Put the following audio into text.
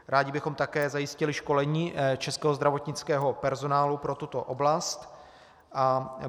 Rádi bychom také zajistili školení českého zdravotnického personálu pro tuto oblast.